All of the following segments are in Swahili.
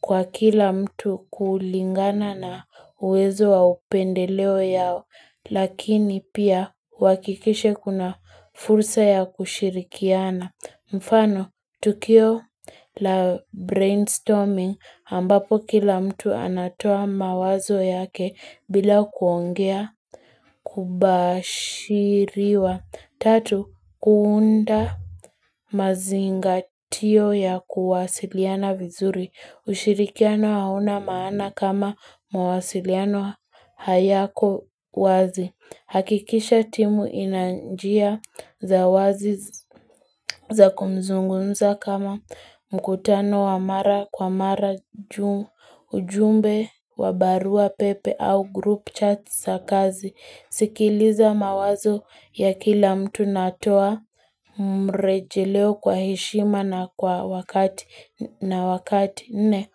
kwa kila mtu kulingana na uwezo wa upendeleo yao lakini pia uhakikishe kuna fursa ya kushirikiana. Mfano, tukio la brainstorming ambapo kila mtu anatoa mawazo yake bila kuongea kubashiriwa. Tatu, kuunda mazingatio ya kuwasiliana vizuri. Ushirikiano hauna maana kama mawasiliano hayako wazi. Hakikisha timu ina njia za wazi za kumzungunza kama mkutano wa mara kwa mara ujumbe wa barua pepe au group chat za kazi. Sikiliza mawazo ya kila mtu na toa mrejeleo kwa heshima na wakati, nne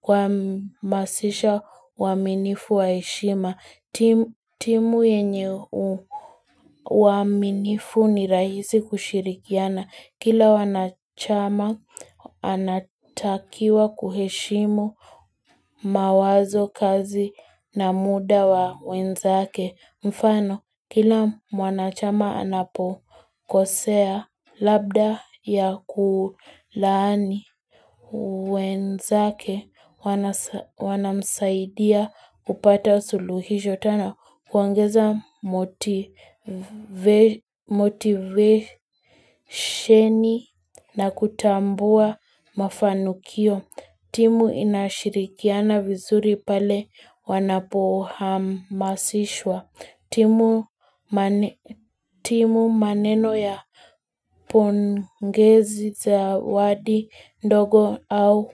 kuhamasisha uaminifu wa heshima. Timu yenye waaminifu ni rahisi kushirikiana. Kila wanachama anatakiwa kuheshimu mawazo kazi na muda wa wenzake. Mfano kila mwanachama anapokosea labda ya kulaani wenzake wanamsaidia upata suluhisho tena kuongeza motivationi na kutambua mafanikio. Timu inashirikiana vizuri pale wanapohamasishwa. Timu maneno ya pongezi zawadi ndogo au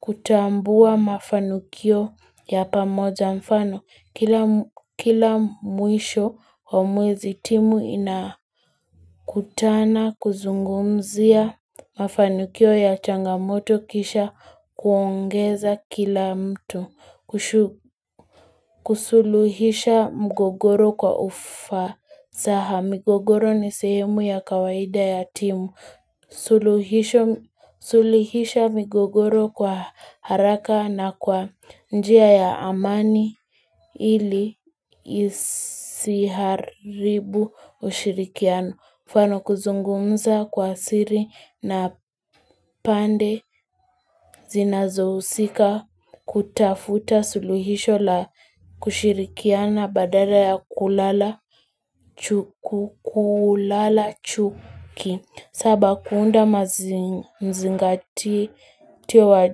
kutambua mafanikio ya pamoja mfano. Kila mwisho, wa mwezi timu inakutana, kuzungumzia, mafanikio ya changamoto kisha kuongeza kila mtu, kusuluhisha mgogoro kwa ufasaha migogoro ni sehemu ya kawaida ya timu, suluhisha migogoro kwa haraka na kwa njia ya amani. Ili isiharibu ushirikiano. Mfano kuzungumza kwa siri na pande zinazohusika kutafuta suluhisho la kushirikiana badala ya kulala chuki. Saba kuunda mzingatio wa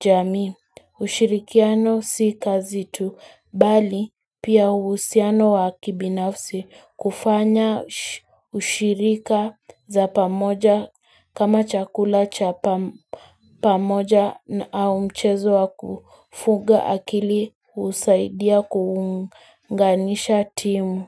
jamii ushirikiano si kazi tu. Bali pia uhusiano wa kibinafsi kufanya ushirika za pamoja kama chakula cha pamoja na au mchezo wa kufuga akili husaidia kuunganisha timu.